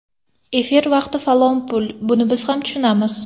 Efir vaqti falon pul, buni biz ham tushunamiz.